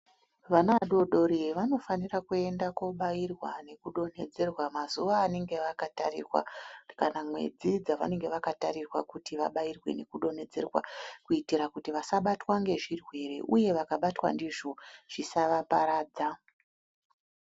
Vana vadodori vanofanire kuende kobairwa nekudonhedzerwa mazuwa anenge akatarirwa kana mwedzi dzavanenge vakatarirwa kuti vabairwe nekudonhedzerwa kuitira kuti vasabatwa nezvirwere uye vakabatwa ndizvo zvisava paradza.